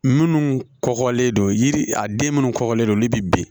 Minnu kɔgɔlen don yiri a den minnu kɔkɔlen don olu bɛ ben